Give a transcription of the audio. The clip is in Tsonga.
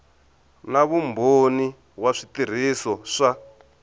na vumbhoni wa switirhiso swa